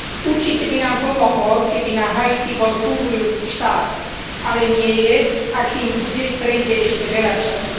Určite by nám pomohlo, keby na Haiti bol fungujúci štát, ale nie je a kým bude, prejde ešte veľa času.